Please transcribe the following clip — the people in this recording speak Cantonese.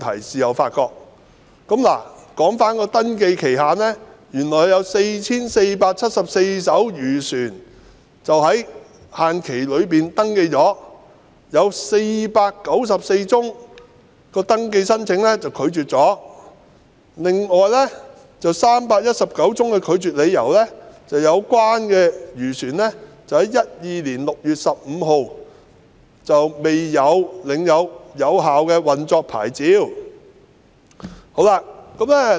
在登記期限內，有 4,474 艘漁船獲登記，並有494宗登記申請被拒絕，當中319宗的拒絕理由是有關漁船在2012年6月15日未領有有效的運作牌照。